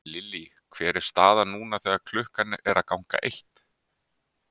Lillý hver er staðan núna þegar að klukkan er að ganga eitt?